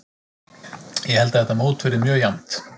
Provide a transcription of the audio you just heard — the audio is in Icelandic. Ég held að þetta mót verði mjög jafnt.